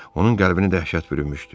Onun qəlbini dəhşət bürümüşdü.